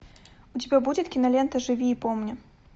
у тебя будет кинолента живи и помни